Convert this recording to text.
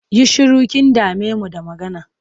Yi shiru! Kin dame mu da magana.